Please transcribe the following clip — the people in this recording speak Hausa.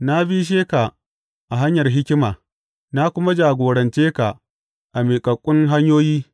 Na bishe ka a hanyar hikima na kuma jagorance ka a miƙaƙƙun hanyoyi.